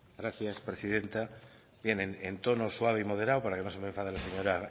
gracias presidenta bien en tono suave y moderado para que no se me enfade la señora